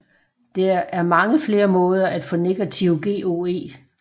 Der er mange flere måder at få negativ GOE